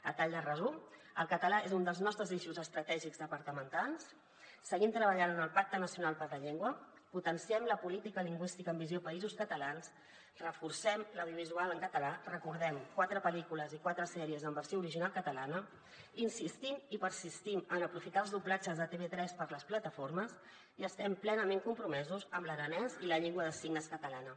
a tall de resum el català és un dels nostres eixos estratègics departamentals seguim treballant en el pacte nacional per la llengua potenciem la política lingüística amb visió països catalans reforcem l’audiovisual en català recordem ho quatre pel·lícules i quatre sèries en versió original catalana insistim i persistim en aprofitar els doblatges de tv3 per a les plataformes i estem plenament compromesos amb l’aranès i la llengua de signes catalana